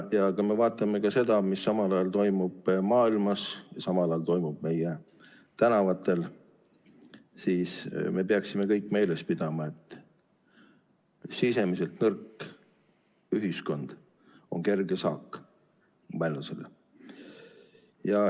Kui me vaatame seda, mis toimub maailmas ja samal ajal toimub meie tänavatel, siis me peaksime kõik meeles pidama, et sisemiselt nõrk ühiskond on kerge saak vaenlasele.